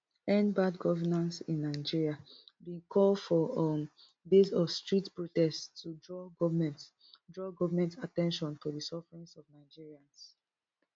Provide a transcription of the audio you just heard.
endbadgovernanceinnigeria bin call for um days of street protest to draw goment draw goment at ten tion to di sufferings of nigerians